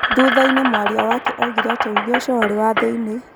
Thutha-inĩ mwaria wake oigire atĩ uge ũcio warĩ wa thĩinie.